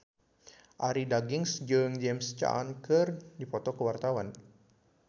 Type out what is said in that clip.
Arie Daginks jeung James Caan keur dipoto ku wartawan